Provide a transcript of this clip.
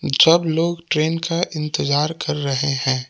सब लोग ट्रेन का इंतजार कर रहे हैं।